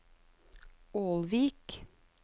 Ålvik